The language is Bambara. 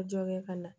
Dɔ kɛ ka na